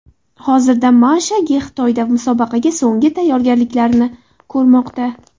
Hozirda Misha Ge Xitoyda musobaqaga so‘nggi tayyorgarliklarni ko‘rmoqda.